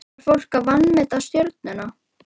Var fólk að vanmeta Stjörnuna?